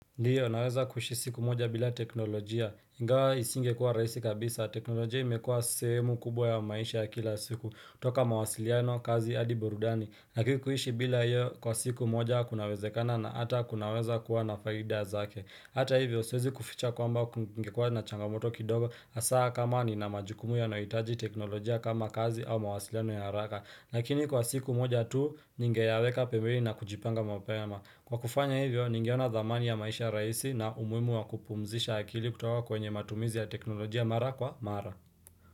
Ndiyo naweza kuishi siku moja bila teknolojia, ingawa isingekuwa rahisi kabisa, teknolojia imekuwa sehemu kubwa ya maisha ya kila siku, toka mawasiliano kazi hadi burudani, lakini kuishi bila hiyo kwa siku moja kunawezekana na hata kunaweza kuwa na faida zake. Hata hivyo, siwezi kuficha kwamba kungekua na changamoto kidogo hasaa kama nina majukumu yanohitaji teknolojia kama kazi au mawasiliano ya haraka. Lakini kwa siku moja tu, ningeyaweka pembeni na kujipanga mapema. Kwa kufanya hivyo, ningeona dhamani ya maisha rahisi na umuhimu wa kupumzisha akili kutoka kwenye matumizi ya teknolojia mara kwa mara.